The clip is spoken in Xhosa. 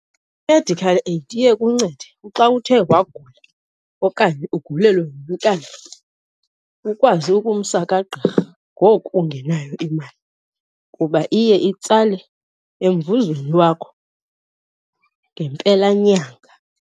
I-medical aid iye ikuncede xa uthe wagula okanye ugulelwe ngumntana ukwazi ukumsa kagqirha ngoku ungenayo imali, kuba iye itsale emvuzweni wakho ngempelanyanga.